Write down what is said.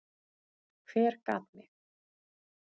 Hver gat mig?